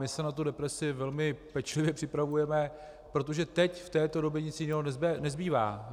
My se na tu represi velmi pečlivě připravujeme, protože teď v této době nic jiného nezbývá.